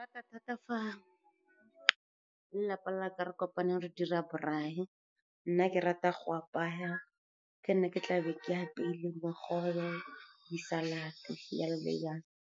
Thata-thata fa lelapa la ka re kopane re dira braai. Nna ke rata go apaya ke nna ke tla be ke apeile bogobe, di-salad-te, jalo le jalo.